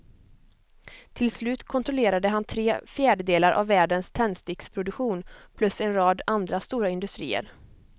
Till slut kontrollerade han tre fjärdedelar av världens tändsticksproduktion plus en rad andra stora industrier.